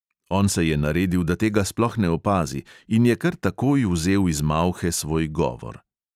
On se je naredil, da tega sploh ne opazi, in je kar takoj vzel iz malhe svoj govor.